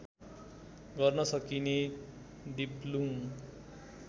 गर्न सकिने दिप्लुङ